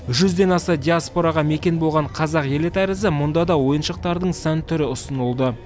жүзден аса диаспораға мекен болған қазақ елі тәрізді мұнда да ойыншықтардың сан түрі ұсынылды